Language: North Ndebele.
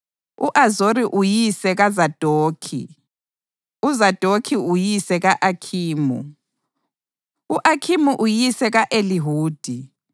u-Azori uyise kaZadokhi, uZadokhi uyise ka-Akhimu, u-Akhimu uyise ka-Elihudi,